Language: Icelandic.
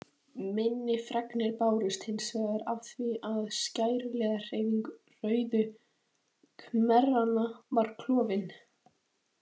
Minni fregnir bárust hins vegar af því að skæruliðahreyfing Rauðu khmeranna var klofin.